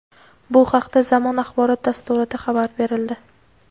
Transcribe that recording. Bu haqda "Zamon" axborot dasturida xabar berildi.